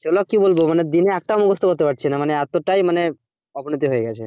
সেগুলো কি বলবো মানে দিনে একটাও মুখস্থ করতে পারছিনা মানে এতটাই মানে অবনতি হয়ে গেছে,